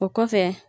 O kɔfɛ